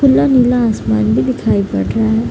नीला-नीला आसमान भी दिखाई पड़ रहा है।